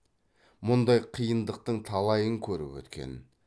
мұндай қиындықтың талайын көріп өткен